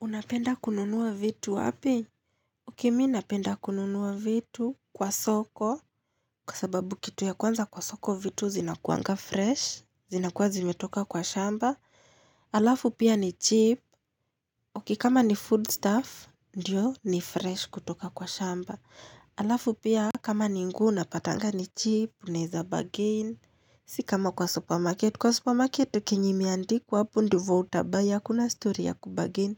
Unapenda kununua vitu wapi? Okay, mimi ninapenda kununua vitu kwa soko. Kwa sababu, kitu ya kwanza, kwa soko vitu huwa fresh. Zinakuwa zimetoka kwa shamba. Alafu pia ni cheap. Okay, kama ni foodstuff, ndio ni fresh kutoka kwa shamba. Alafu pia, kama ni nguo huwa unapata ni cheap, unaweza bargain. Sio kama kwa supermarket. Kwa supermarket kile ambacho kimiandikwa hapo ndivyo utabuy, hakuna story ya kubargain.